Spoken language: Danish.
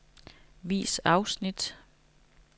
Vis afsnit.